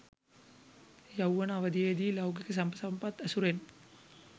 යෞවන අවධියේ දී ලෞකික සැප සම්පත් ඇසුරෙන්